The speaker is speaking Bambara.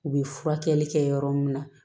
U bɛ furakɛli kɛ yɔrɔ min na